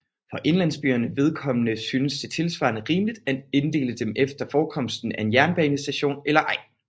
For indlandsbyernes vedkommende synes det tilsvarende rimeligt at inddele dem efter forekomsten af en jernbanestation eller ej